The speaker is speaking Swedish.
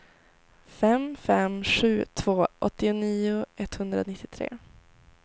fem fem sju två åttionio etthundranittiotre